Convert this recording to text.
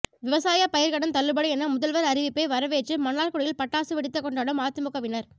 விவசாய பயிர்க்கடன் தள்ளுபடி என முதல்வர் அறிவிப்பை வரவேற்று மன்னார்குடியில் பட்டாசு வெடித்து கொண்டாடும் அதிமுகவினர்